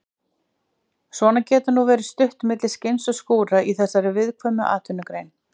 Svona getur nú verið stutt á milli skins og skúra í þessari viðkvæmu atvinnugrein.